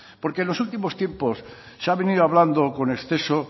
porque en los últimos tiempos se ha venido hablando con exceso